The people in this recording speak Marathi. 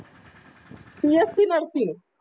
bscnursing